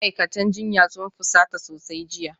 Ma'aikatan jinya sun fusata sosai jiya